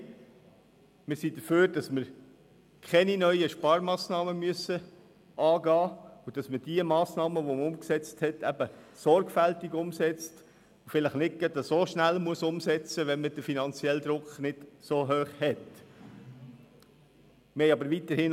Wir sind dafür, dass wir keine neuen Sparmassnahmen beschliessen und dass man die Massnahmen, die man beschlossen hat, eben sorgfältig umsetzt und vielleicht weniger schnell umsetzt, wenn der finanzielle Druck nicht so stark ist.